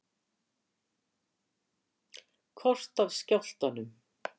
Kort af skjálftanum